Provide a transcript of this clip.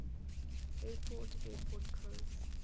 airport airport codes